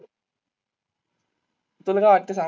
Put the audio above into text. तूला काय वाटतं सांग.